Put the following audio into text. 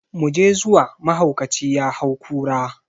Mu je zuwa, mahaukaci ya hau kura!